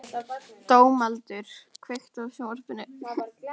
Dómaldur, kveiktu á sjónvarpinu.